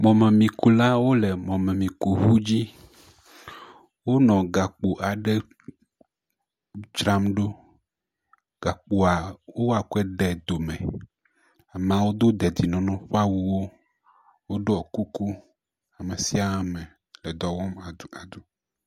Mɔmemiku aɖewo le mɔmemikuŋu dzi, wole gakpo aɖe dzram ɖo, gakpoa wokɔe de do me, amawo do dedinɔnɔ ƒa wu wo, woɖɔ kuku, ame sia ame edɔwɔm aduadu.